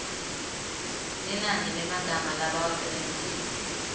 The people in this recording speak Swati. linani lemagama labawasebentisile